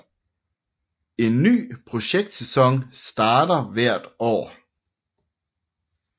En ny projektsæson starter hvert år